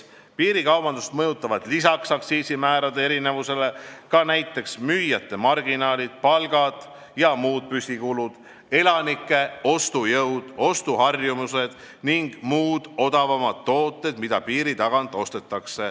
Piirikaubandust mõjutavad lisaks aktsiisimäärade erinevusele ka näiteks müüjate marginaalid, palgad ja muud püsikulud, elanike ostujõud, ostuharjumused ning kõik tooted, mida saab piiri tagant odavamalt osta.